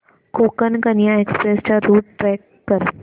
Konkan Kanya express चा route track कर